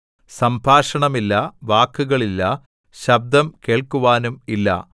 സംഭാഷണമില്ല വാക്കുകളില്ല ശബ്ദം കേൾക്കുവാനും ഇല്ല